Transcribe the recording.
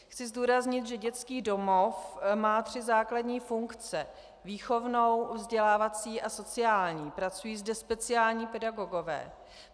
Chci zdůraznit, že dětský domov má tři základní funkce: výchovnou, vzdělávací a sociální, pracují zde speciální pedagogové.